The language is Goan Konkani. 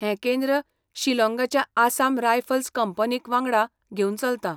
हें केंद्र शिलॉंगाच्या आसाम रायफल्स कंपनीक वांगडा घेवन चलता.